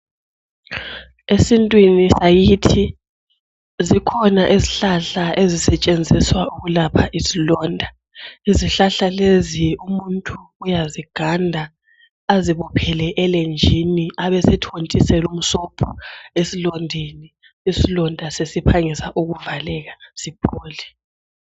Esintwini sakhithi, zikhona izihlahla ezisetshenziswa ukulapha izilonda. Izihlahla lezi, umuntu uyaziganda, azibophele elenjini abesethontisela umsobho esilondeni. Isilonda sesiphangisa ukuvaleka siphole.